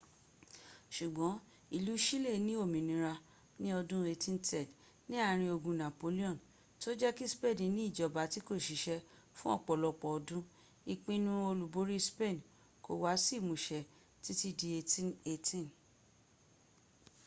ṣùgbọ́n ìlú chile ní òmínira ní ọdún 1810 ní àárín ogun napoleon tí ó jẹ́ kí spain ní ìjọba tí kò ṣiṣẹ́ fún ọ̀pọ̀lọpọ̀ ọdún} ìpinnu olúborí spain kò wá sí ìmúṣẹ títí di 1818